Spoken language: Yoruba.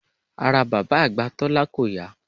Ara bàbá àgbà Tólá kò yá